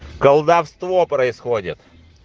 колдовство происходит